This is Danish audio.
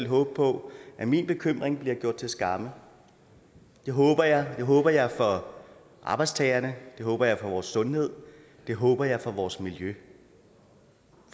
håbe på at min bekymring bliver gjort til skamme det håber jeg håber jeg for arbejdstagerne det håber jeg for vores sundhed og det håber jeg for vores miljø